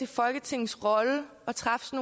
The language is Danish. folketingets rolle at træffe